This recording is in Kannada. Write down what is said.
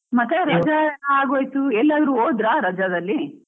ಮತ್ತೆ ಅಗೋಯ್ತು ಎಲ್ಲಿ ಆದ್ರೂ ಹೋದ್ರಾ, ರಜಾದಲ್ಲಿ?